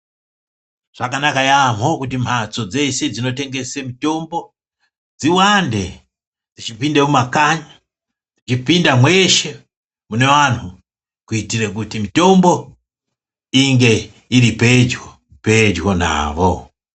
Zvakanaka yamho kuti mhatso dzeshe dzinotengese mitombo dziwande dzichipinda mumakanyi dzichipinda mweshe muneanhu kuitire kuti mitombo inge iri pedyo pedyo navo.